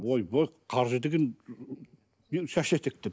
ойбой қаржы деген шаш етектен